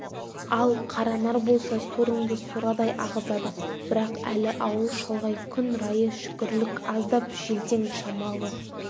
ал қаранар болса сорыңды сорадай ағызады бірақ әлі ауыл шалғай күн райы шүкірлік аздап желтең шамалы